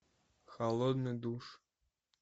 холодный душ